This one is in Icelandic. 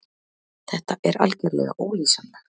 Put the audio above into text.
Þetta er algerlega ólýsanlegt.